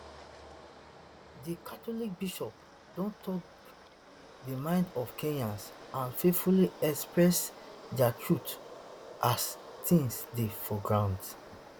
di [catholic] bishops don tok di minds of kenyans and faithfully express dia truth as tins dey for ground